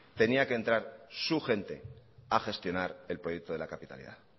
tenía que entrar su gente a gestionar el proyecto de la capitalidad